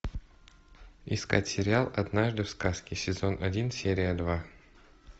искать сериал однажды в сказке сезон один серия два